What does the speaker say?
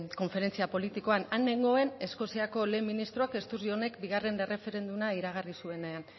konferentzia politikoan han nengoen eskoziako lehen ministroak sturgeonek bigarren erreferenduma iragarri zuenean